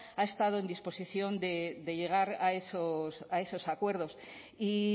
ha estado en disposición de llegar a esos acuerdos y